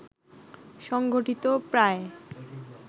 সংগঠিত প্রায়